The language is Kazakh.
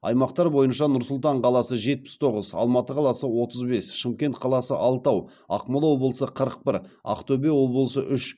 аймақтар бойынша нұр сұлтан қаласы жетпіс тоғыз алматы қаласы отыз бес шымкент қаласы алтау ақмола облысы қырық бір ақтөбе облысы үш